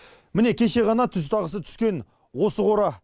міне кеше ғана түз тағысы түскен осы қора